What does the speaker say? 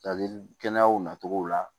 Ladili kɛnɛyaw natogo la